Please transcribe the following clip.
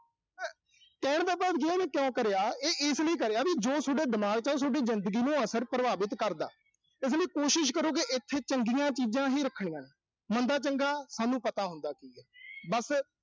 ਕਹਿਣ ਦਾ ਭਾਵ ਉਹਨੇ ਕਿਉਂ ਕਰਿਆ। ਇਹ ਇਸ ਲਈ ਕਰਿਆ ਵੀ ਜੋ ਸੋਡਾ ਦਿਮਾਗ ਚ ਆ, ਉਹ ਸੋਡੀ ਜ਼ਿੰਦਗੀ ਨੂੰ ਅਸਲ ਚ ਪ੍ਰਭਾਵਿਤ ਕਰਦਾ। ਤੇ ਇਸ ਲਈ ਕੋਸ਼ਿਸ਼ ਕਰੋ ਵੀ ਇਥੇ ਚੰਗੀਆਂ ਚੀਜ਼ਾਂ ਹੀ ਰੱਖਣੀਆਂ। ਮੰਦਾ-ਚੰਗਾ ਸਾਨੂੰ ਪਤਾ ਹੁੰਦਾ ਚੀਜ਼। ਬਸ